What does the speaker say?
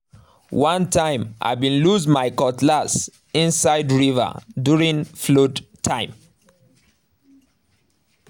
one time i been lose my cutlass inside river during flood time